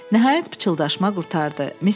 Nəhayət pıçıldaşma qurtardı.